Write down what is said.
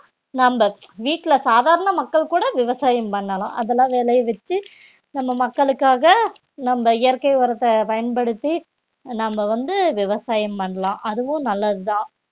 நம்ம வீட்டுல சாதாரண மக்கள் கூட விவசாயம் பண்ணலாம் அதெல்லாம் விளைய வச்சு நம்ம மக்களுக்காக நம்ம இயற்கை உரத்த பயன்படுத்தி நம்ம வந்து விவசாயம் பண்ணலாம் அதுவும் நல்லதுதான்